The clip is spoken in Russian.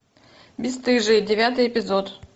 бесстыжие девятый эпизод